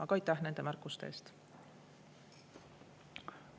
Aga aitäh nende märkuste eest!